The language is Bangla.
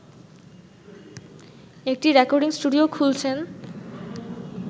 একটি রেকর্ডিং স্টুডিও খুলছেন